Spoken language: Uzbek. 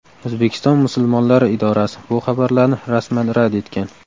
O‘zbekiston musulmonlari idorasi bu xabarlarni rasman rad etgan .